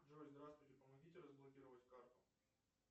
джой здравствуйте помогите разблокировать карту